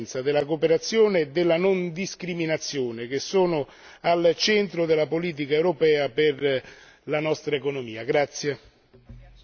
il tema della trasparenza, della cooperazione e della non discriminazione che sono al centro della politica europea per la nostra economia.